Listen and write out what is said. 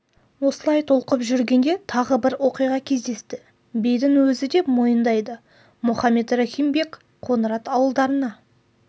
осылай толқып жүргенде тағы бір оқиға кездесті бидің өзі де мойындайды мұхаммед рахим бек қоңырат ауылдарына